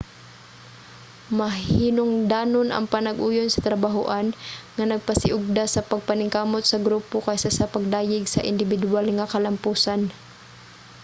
mahinungdanon ang panag-uyon sa trabahoan nga nagpasiugda sa pagpaningkamot sa grupo kaysa sa pagdayeg sa indibiduwal nga kalampusan